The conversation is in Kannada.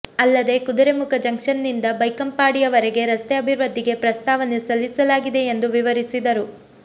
ಅಲ್ಲದೆ ಕುದುರೆಮುಖ ಜಂಕ್ಷನ್ನಿಂದ ಬೈಕಂಪಾಡಿಯವರೆಗೆ ರಸ್ತೆ ಅಭಿವೃದ್ಧಿಗೆ ಪ್ರಸ್ತಾವನೆ ಸಲ್ಲಿಸಲಾಗಿದೆ ಎಂದು ವಿವರಿಸಿದರು